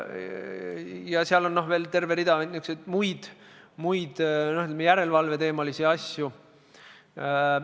Ja seal on veel terve hulk muid niisuguseid järelevalveteemalisi asju.